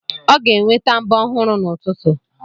Ọ ga-enweta mbọ ọhụrụ n'ụtụtụ.